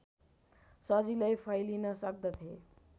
सजिलै फैलिन सक्दथे